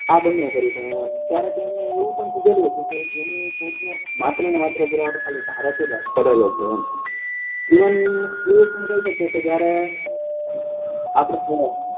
આ બને કરી પણ ત્યારે એમને એવું પણ ક્યેલું હતું કે માત્ર માત્ર પુરાવો ભારતે જ કરેલો છે એમ જીવન એવી રીતે કઈ શકીએ કે જયારે આપડે